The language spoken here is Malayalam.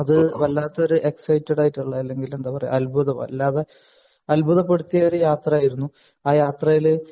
അത് വല്ലാത്ത എക്‌സൈറ്റഡ് ആയിട്ടുള്ള അല്ലെങ്കിൽ എന്താ പറയാ അത്ഭുതം വല്ലാതെ അത്ഭുതപ്പെടുത്തിയ യാത്ര ആയിരുന്നു ആ യാത്രയിൽ